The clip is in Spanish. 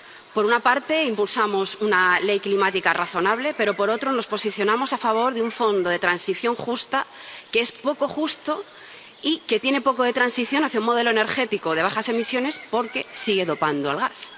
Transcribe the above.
Por una parte, impulsamos una ley climática razonable, pero, por otra, nos posicionamos a favor de un Fondo de Transición Justa, que es poco justo y que tiene poco de transición hacia un modelo energético de bajas emisiones, porque sigue dopando al gas.